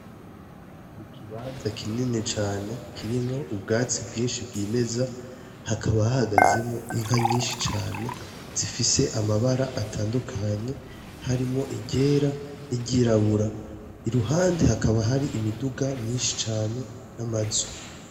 Ikibanza kinini cane kirimwo ubwatsi bwinshi bwimeza, hakaba hahagazemwo inka nyinshi cane zifise amabara atandukanye harimwo iryera n'iryirabura. Iruhande hakaba hari imiduga myinshi cane n'amazu.